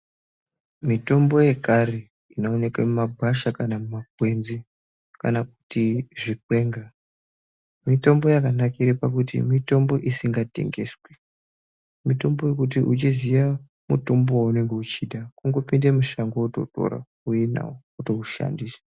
Mitombo yekare inooneke mumagwasha kana mumakwenzi, kana kuti zvikwenga. Mitombo yakanakira pakuti mitombo isingatengeswi. Mitombo yokuti uchiziya mutombo wounenge uchida, kungopinde mushango wototora wouye nawo, wotoushandisa.